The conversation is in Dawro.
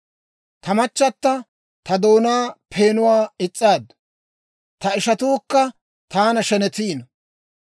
Ta machata ta doonaa peenuwaa is's'aaddu; ta ishatuukka taana shenetiino.